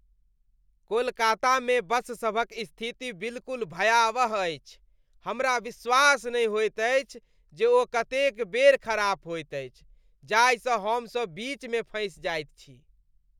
कोलकातामे बससभक स्थिति बिलकुल भयावह अछि! हमरा विश्वास नहि होइत अछि जे ओ कतेक बेर खराप होइत अछि, जाहि सँ हमसभ बीच मे फँसि जाइत छी।